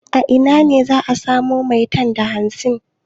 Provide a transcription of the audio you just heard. A ina ne za a samo maitan da hamsin?